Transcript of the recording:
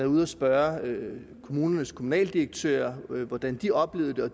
ude at spørge kommunernes kommunaldirektører hvordan de oplevede det og